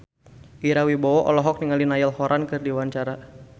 Ira Wibowo olohok ningali Niall Horran keur diwawancara